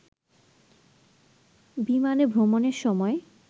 বিমানে ভ্রমণের সময়